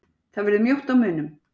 Það verður mjótt á munum